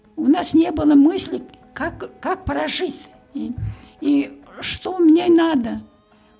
у нас не было мысли как как прожить и что мне надо